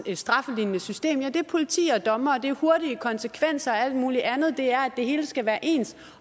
et straflignende system ja det er politi og dommere det er hurtige konsekvenser og alt muligt andet det er at det hele skal være ens